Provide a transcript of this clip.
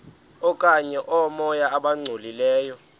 okanye oomoya abangcolileyo